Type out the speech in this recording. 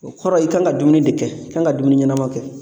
O kɔrɔ i kan ka dumuni de kɛ, i kan ka dumuni ɲɛnama kɛ .